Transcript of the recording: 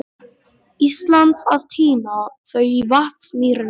Íslands að tína þau í Vatnsmýrinni.